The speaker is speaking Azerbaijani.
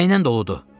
Nəylə doludur?